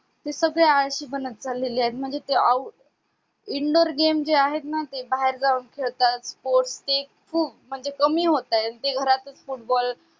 ते सगळे आळशी बनत चाललेले आहेत म्हणजे ते indoor game जे आहेत ना ते बाहेर जाऊन खेळतात sports ची कमी होतायत म्हणजे घरातच football